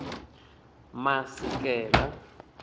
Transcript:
masikela